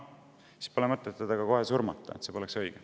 Siis pole ju mõtet teda kohe surmata, see poleks õige.